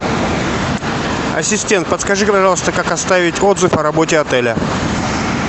ассистент подскажи пожалуйста как оставить отзыв о работе отеля